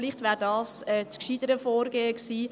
Vielleicht wäre dies das gescheitere Vorgehen gewesen.